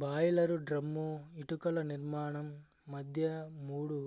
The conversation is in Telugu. బాయిలరు డ్రమ్ము ఇటుకలనిర్మాణం మధ్య మూడు